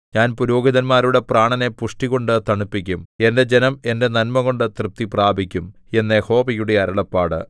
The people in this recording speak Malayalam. ഞാൻ പുരോഹിതന്മാരുടെ പ്രാണനെ പുഷ്ടികൊണ്ട് തണുപ്പിക്കും എന്റെ ജനം എന്റെ നന്മകൊണ്ട് തൃപ്തി പ്രാപിക്കും എന്ന് യഹോവയുടെ അരുളപ്പാട്